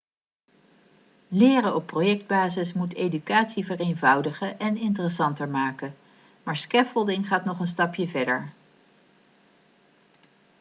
leren op projectbasis moet educatie vereenvoudigen en interessanter maken maar scaffolding gaat nog een stapje verder